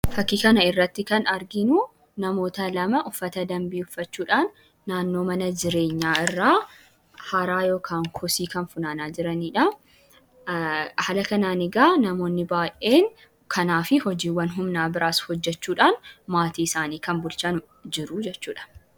Fakkii kana irratti kan arginuu namoota lama uffata danbii uffachuudhaan naannoo mana jireenyaa irraa haraa yookan koosii kan funaanaa jiraniidha haala kananii eegaa namoonni baay'een kanaa fi hojiiwwan humnaa biraas hojjechuudhaan maatii isaanii kan bulchaan jiru jechuudha.